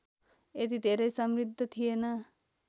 यति धेरै समृद्ध थिएन